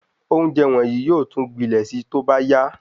Ounjẹ wọnyii yóò tún gbilẹ̀ sí tóbá ya